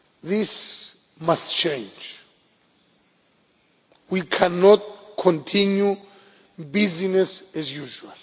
This must change. We cannot continue with business as usual.